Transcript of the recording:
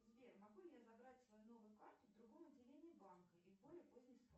сбер могу ли я забрать свою новую карту в другом отделении банка и в более поздний срок